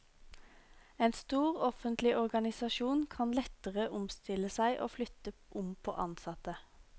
En stor offentlig organisasjon kan lettere omstille seg og flytte om på ansatte.